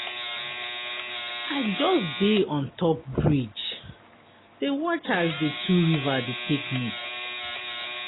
I just dey on top bridge dey watch as di two river take meet.